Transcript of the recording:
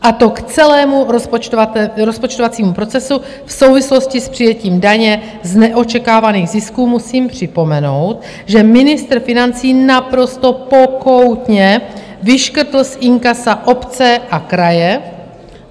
A to k celému rozpočtovacímu procesu v souvislosti s přijetím daně z neočekávaných zisků musím připomenout, že ministr financí naprosto pokoutně vyškrtl z inkasa obce a kraje.